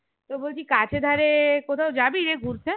তো বলছি কাছে ধারে কোথাও যাবিরে ঘুরতে?